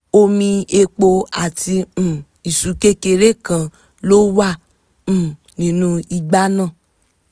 omi epo àti um isu kékeré kan ló wà um nínú igbá náà